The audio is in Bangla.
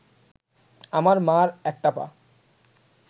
আমার মার একটা পা